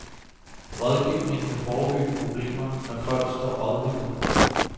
Rådgivning kan forebygge problemer, når folk står rådvilde.